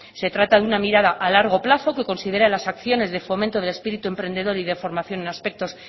se trata de una mirada a largo plazo que considera las acciones de fomento de espíritu emprendedor y de formación en aspectos